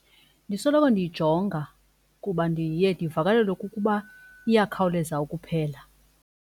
Ndisoloko ndiyijonga kuba ndiye ndivakalelwe kukuba iyakhawuleza ukuphela.